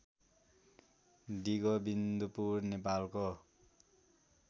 डिगोविन्दपुर नेपालको